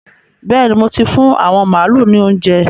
Bẹ́ẹ̀ni, mo ti fún àwọn màálu ní óuńjẹ.